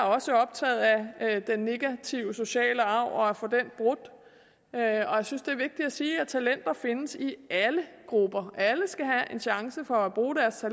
også optaget af den negative sociale arv og af at få den brudt og jeg synes det er vigtigt at sige at talenter findes i alle grupper alle skal have en chance for at bruge deres